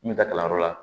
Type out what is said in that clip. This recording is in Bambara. N bɛ taa kalanyɔrɔ la